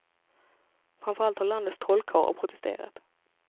Framför allt har landets trollkarlar protesterat.